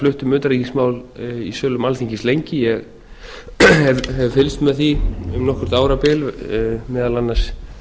flutt um utanríkismál í sölum alþingis lengi ég hef fylgst með því um nokkurt árabil meðal annars